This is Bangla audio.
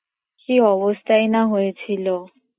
কি অবস্থাই না হয়েছিলো